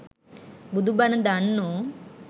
බුදු බණ දන්නෝ